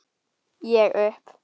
Ég upp